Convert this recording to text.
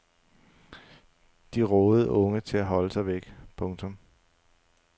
De rådede unge til at holde sig væk. punktum